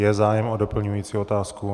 Je zájem o doplňující otázku.